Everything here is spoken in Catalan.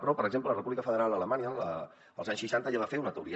però per exemple la república federal d’alemanya als anys seixanta ja va fer una teoria